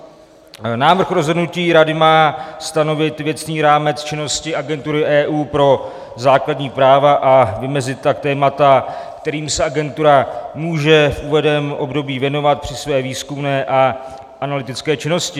Návrh rozhodnutí Rady má stanovit věcný rámec činnosti Agentury EU pro základní práva, a vymezit tak témata, kterým se agentura může v uvedeném období věnovat při své výzkumné a analytické činnosti.